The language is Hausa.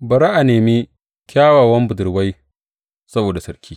Bari a nemi, kyawawan budurwai saboda sarki.